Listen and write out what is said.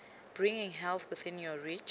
bringing health within your reach